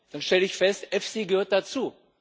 dann stelle ich fest, EFSI gehört dazu.